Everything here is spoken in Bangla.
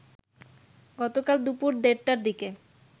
গতকাল দুপুর দেড়টার দিকে